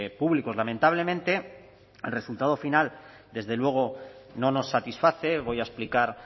públicos lamentablemente el resultado final desde luego no nos satisface voy a explicar